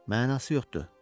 Mənası yoxdur.